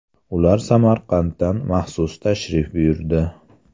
Ular Samarqanddan maxsus tashrif buyurdi.